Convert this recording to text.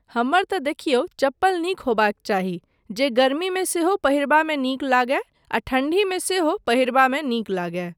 हमर तऽ देखियौ, चप्पल नीक होयबाक चाही जे गर्मीमे सेहो पहिरबामे नीक लगय आ ठण्डीमे सेहो पहिरबामे नीक लगय।